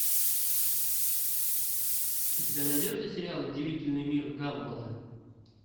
у тебя найдется сериал удивительный мир гамбола